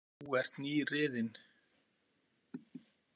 Þú ert nýriðin.